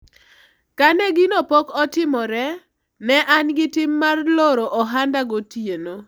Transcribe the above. kane gino pok otimore, ne an gi tim mar loro ohanda gotieno